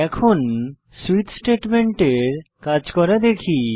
এখন সুইচ স্টেটমেন্টের কাজ করা দেখি